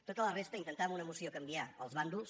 tota la resta intentar amb una moció canviar els bàndols